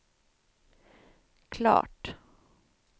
klart